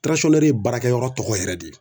Tiransɔnnɛri ye baarakɛyɔrɔ tɔgɔ yɛrɛ de ye